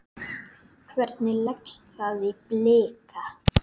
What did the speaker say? Hvernig leggst það í Blika?